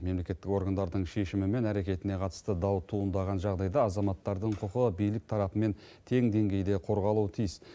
мемлекеттік органдардың шешімі мен әрекетіне қатысты дау туындаған жағдайда азаматтардың құқығы билік тарапымен тең деңгейде қорғалуы тиіс